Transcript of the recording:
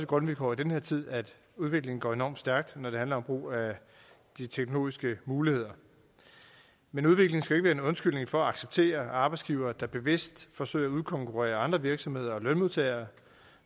grundvilkår i den her tid at udviklingen går enormt stærkt når det handler om brug af de teknologiske muligheder men udviklingen skal være en undskyldning for at acceptere arbejdsgivere der bevidst forsøger at udkonkurrere andre virksomheder og lønmodtagere